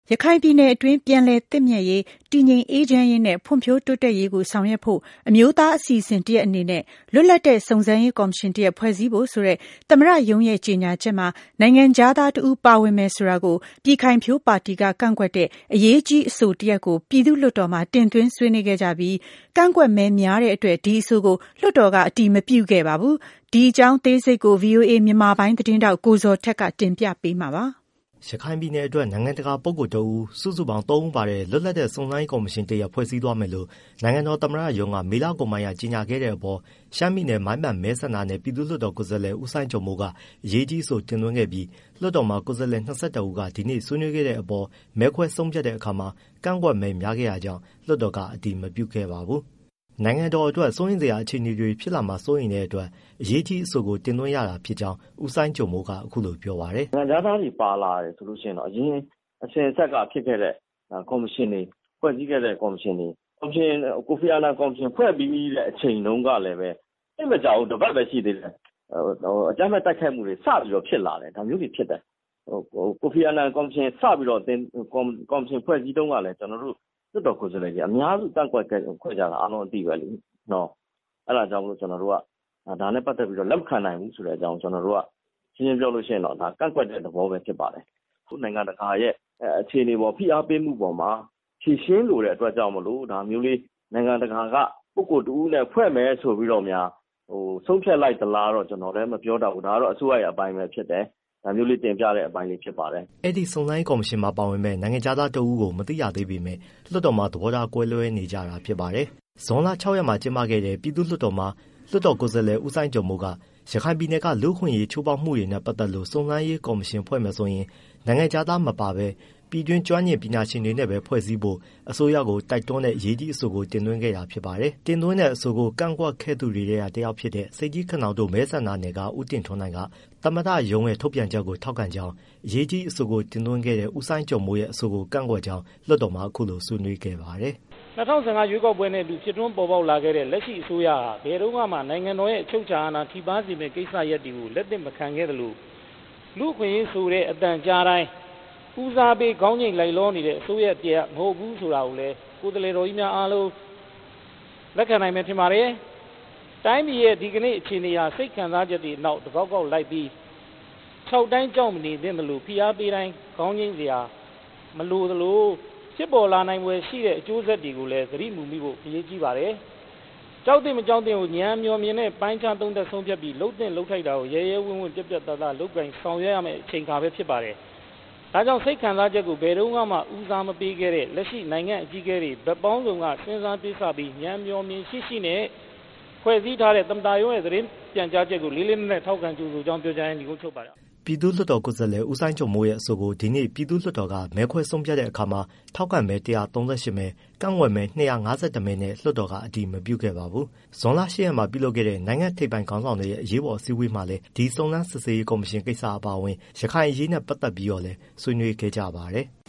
ရခိုင်ပြည်နယ်အတွင်း ပြန်လည်သင့်မြတ်ရေး တည်ငြိမ်အေးချမ်းရေးနဲ့ ဖွံ့ဖြိုးတိုးတက်ရေးကို ဆောင်ရွက်ဖို့ အမျိုးသားအစီအစဉ် တစ်ရပ်အနေနဲ့ လွတ်လပ်တဲ့ စုံစမ်းရေးကော်မရှင်တစ်ရပ်ဖွဲ့စည်းဖို့ ဆိုတဲ့ သမ္မတရုံးရဲ့ကြေညာချက်မှာ နိုင်ငံခြားသားတဦးပါဝင်မယ်ဆိုတာကို ပြည်ခိုင်ဖြိုးပါတီက ကန့်ကွက်တဲ့ အရေးကြီးအဆိုတရပ်ကို ပြည်သူ့လွှတ်တော်မှာတင်သွင်း ဆွေးနွေးခဲ့ကြပြီး ကန့်ကွက်မဲများတဲ့အတွက် ဒီအဆိုကို လွှတ်တော်က အတည်မပြုခဲ့ပါဘူး။ ဒီအကြောင်းအသေးစိတ်ကို ဗွီအိုအေ မြန်မာပိုင်းသတင်းထောက် ကိုဇော်ထက်က တင်ပြပေးမှာပါ။ ရခိုင်ပြည်နယ်တွက် နိုင်ငံတကာပုဂ္ဂိုလ်တစ်ဦး စုစုပေါင်းသုံးဦးပါတဲ့ လွတ်လပ်တဲ့စုံစမ်းရေး ကော်မရှင်တစ်ရပ် ဖွဲ့စည်းသွားမယ်လို့ နိုင်ငံတော်သမ္မတရုံးက မေလကုန်ပိုင်းက ကြေငြာခဲ့တဲ့အပေါ် ရှမ်းပြည်နယ် မိုင်းပန်မဲဆန္ဒနယ် ပြည်သူ့လွှတ်တော် ကိုယ်စားလှယ် ဦးစိုင်းကျော်မိုးက အရေးကြီးအဆို တင်သွင်းခဲ့ပြီး လွှတ်တော်မှာ ကိုယ်စားလှယ် ၂၁ဦးက ဒီနေ့ဆွေးနွေးခဲ့တဲ့အပေါ် မဲခွဲဆုံးဖြတ်တဲ့အခါမှာ ကန့်ကွက်မဲများခဲ့တာကြောင့် လွှတ်တော်က အတည်မပြုခဲ့ပါဘူး။ နိုင်ငံတော်အတွက် စိုးရိမ်စရာအခြေအနေတွေ ဖြစ်လာမှာစိုးရိမ်တဲ့အတွက် အရေးကြီးအဆိုကို တင်သွင်း ရတာဖြစ်ကြောင်း ဦးစိုင်းကျော်မိုးက အခုလိုပြောပါတယ်။ “နိုင်ငံခြားသားတွေ ပါလာတယ်ဆိုရင်တော့ အရင်အစဉ်အဆက်က ဖြစ်ခဲ့တဲ့ကော်မရှင်တွေ၊ ဖွဲ့စည်းခဲ့တဲ့ ကော်မရှင်တွေ ကိုဖီအာနန်ကော်မရှင် ဖွဲ့ပြီးတဲ့အချိန်တုန်းကလည်း သိပ်မကြာဘူး တစ်ပတ်ပဲရှိသေးတယ် အကြမ်းဖက်တိုက်ခိုက်မှုတွေ စပြီးဖြစ်လာတယ်။ ကိုဖီအာနန်ကော်မရှင်စဖွဲ့တုန်းကလည်း ကျွန်တော်တို့ လွှတ်တော်ကိုယ်စားလှယ်တွေ အများစုကန့်ကွက်ခဲ့ကြတာ အားလုံးအသိပဲလေ။ အဲဒါကြောင့်မို့ ကျွန်တော်တို့က ဒါနဲ့ပတ်သတ်ပြီး လက်မခံနိုင်ဘူးလို့ဆိုတဲ့အကြောင်း ရှင်းရှင်းပြောရင် ကန့်ကွက်တယ် ဆိုတဲ့ သဘောပဲဖြစ်ပါတယ်။ အခုနိုင်ငံတကာရဲ့ ဖိအားပေးမှုအပေါ်မှာ ဖြေရှင်းလိုတဲ့အတွက်ကြောင့်မို့ နိုင်ငံတကာက ပုဂ္ဂိုလ်တစ်ဦးနဲ့ ဖွဲ့မယ်လို့ဆိုပြီးတော့များ ဆုံးဖြတ်လိုက်သလားလို့ ကျွန်တော်လည်း မပြောတတ်ဘူး။ ဒါကအစိုးရရဲ့အပိုင်းပဲဖြစ်တယ်။” အဲဒီစုံစမ်းရေးကော်မရှင်မှာပါဝင်မယ့် နိုင်ငံခြားသားတစ်ဦးကို မသိရသေးပေမဲ့ လွှတ်တော်မှာ သဘောထားကွဲလွဲနေကြတာဖြစ်ပါတယ်။ ဇွန်လ ၆ရက်မှာကျင်းပခဲ့တဲ့ ပြည်သူ့လွှတ်တော်မှာ လွှတ်တော်ကိုယ်စားလှယ် ဦးစိုင်းကျော်မိုးက ရခိုင်ပြည်နယ်က လူ့အခွင့်အရေးချိုးဖောက်မှုတွေနဲ့ ပတ်သတ်လို့ စုံစမ်းရေးကော်မရှင် ဖွဲ့မယ်ဆိုရင် နိုင်ငံခြားသားမပါဘဲ ပြည်တွင်း ကျွမ်းကျင်ပညာရှင်တွေနဲ့ပဲ ဖွဲ့စည်းဖို့ အစိုးရကို တိုက်တွန်းတဲ့ အရေးကြီးအဆိုကို တင်သွင်းခဲ့တာဖြစ်ပါတယ်။ တင်သွင်းတဲ့အဆိုကို ကန့်ကွက်ခဲ့သူတွေထဲကတစ်ယောက်ဖြစ်တဲ့ ဆိပ်ကြီးခနောင်တို မဲဆန္ဒနယ်က ဦးတင်ထွန်းနိုင်က သမ္မတရုံးရဲ့ထုတ်ပြန်ချက်ကို ထောက်ခံကြောင်း၊ အရေးကြီးအဆိုကိုတင်သွင်းခဲ့တဲ့ ဦးစိုင်းကျော်မိုးရဲ့ အဆိုကို ကန့်ကွက်ကြောင်း လွှတ်တော်မှာအခုလိုဆွေးနွေးခဲ့ပါတယ်။ “၂၀၁၅ ရွေးကောက်ပွဲနဲ့အတူ ဖြစ်ထွန်းပေါ်ပေါက်လာတဲ့ လက်ရှိအစိုးရဟာ ဘယ်တုန်းကမှ နိုင်ငံတော်ရဲ့ အချုပ်အခြာအာဏာ ထိပါးစေမယ့် ကိစ္စတွေကိုလက်သင့်မခံခဲ့သလို လူ့အခွင့်အရေးဆိုတဲ့ အသံကြားတိုင်း ဦးစားပေးလိုက်လျောနေတဲ့ အစိုးရတစ်ရပ်မဟုတ်ဘူးဆိုတာကိုလည်း ကိုယ်စားလှယ်တော်ကြီးများအားလုံး လက်ခံနိုင်မယ် ထင်ပါတယ်။ တိုင်းပြည်ရဲ့ ဒီနေ့အခြေအနေဟာ စိတ်ခံစားချက်တွေနောက် တကောက်ကောက် လိုက်ပြီး ခြောက်တိုင်းကြောက်မနေသင့်သလို ဖိအားပေးတိုင်း ခေါင်းညိတ်စရာ မလိုသလို ဖြစ်ပေါ်လာနိုင်ဖွယ်ရှိတဲ့ အကျိုးဆက်တွေကိုလည်း သတိမူမိဖို့ အရေးကြီးပါတယ်။ ကြောက်သင့် မကြောက်သင့်ကို ဉာဏ်အမြော်မမြင်နဲ့ ပိုင်းခြားသုံးသပ် ဆုံးဖြတ်ပြီး လုပ်သင့်လုပ်ထိုက်တာကို ရဲရဲဝံ့ဝံ့လုပ်ကိုင်ဆောင်ရွက်ရမယ့် အချိန်အခါပဲဖြစ်ပါတယ်။ ဒါကြောင့် စိတ်ခံစားချက်ကို ဘယ်တုန်းကမှ ဦးစားမပေးခဲ့တဲ့ နိုင်ငံ့အကြီးအကဲတွေ ဘယ်တုန်းကမှ စဉ်းစားတွေးဆပြီး ဉာဏ်အမြော်အမြင်ရှိရှိနဲ့ ဖွဲ့စည်း ထားတဲ့ သမ္မတရုံးရဲ့သတင်းပြန်ကြားချက်ကို လေလေးနက်နက်ထောက်ခံကြိုဆိုကြောင်း ပြောကြားရင်း နိဂုံးချုပ်ပါတယ်။” ပြည်သူ့လွှတ်တော်ကိုယ်စားလှယ် ဦးစိုင်းကျော်မိုးရဲ့အဆိုကို ဒီနေ့ ပြည်သူ့လွှွတ်တော်ကမဲခွဲဆုံးဖြတ်တဲ့အခါမှာ ထောက်ခံမဲ ၁၃၈မဲ၊ ကန့်ကွက်မဲ ၂၅၁ မဲနဲ့ လွှတ်တော်က အတည်မပြုခဲ့ပါဘူး။ ဇွန်လ ၈ရက်မှာလုပ်ခဲ့တဲ့ နိုင်ငံ့ထိပ်ပိုင်းခေါင်းဆောင်တွေရဲ့ အရေးပေါ်အစည်းအဝေးမှာလည်း ဒီစုံစမ်းစစ်ဆေးရေး ကော်မရှင်ကိစ္စ အပါအဝင် ရခိုင်အရေးနဲ့ ပတ်သက်ပြီးတော့လည်း ဆွေးနွေးခဲ့ကြပါတယ်။